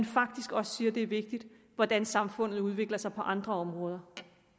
faktisk også siger at det er vigtigt hvordan samfundet udvikler sig på andre områder